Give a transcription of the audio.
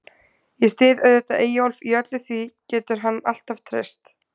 Ég styð auðvitað Eyjólf í öllu, því getur hann alltaf treyst.